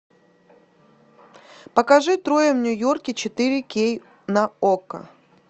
покажи трое в нью йорке четыре кей на окко